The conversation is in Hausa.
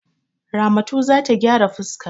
Ramatu za ta gyara fuska.